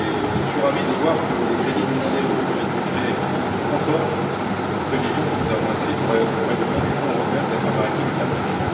Je suis ravi de voir que les crédits demandés dans le projet de budget sont conformes aux prévisions que nous avons inscrites au règlement du Fonds européen des affaires maritimes et de la pêche.